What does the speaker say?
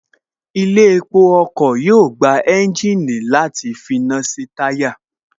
Ilé epo ọkọ̀ yóò gba ẹ́ńjìnì àti finá sí táyà